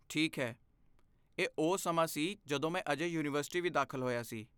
ਠੀਕ ਹੈ, ਇਹ ਉਹ ਸਮਾਂ ਸੀ ਜਦੋਂ ਮੈਂ ਅਜੇ ਯੂਨੀਵਰਸਿਟੀ ਵੀ ਦਾਖਲ ਹੋਇਆ ਸੀ।